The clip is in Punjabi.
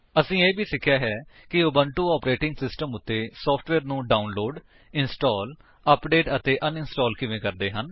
ਅਸੀਂ ਇਹ ਵੀ ਸਿੱਖਿਆ ਹੈ ਕਿ ਉਬੁੰਟੂ ਆਪਰੇਟਿੰਗ ਸਿਸਟਮ ਉੱਤੇ ਸੋਫਟਵੇਅਰ ਨੂੰ ਡਾਉਨਲੋਡ ਇੰਸਟਾਲ ਅਪਡੇਟ ਅਤੇ ਅਨਇੰਸਟਾਲ ਕਿਵੇਂ ਕਰਦੇ ਹਨ